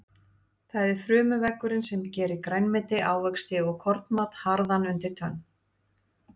Það er frumuveggurinn sem gerir grænmeti, ávexti og kornmat harðan undir tönn.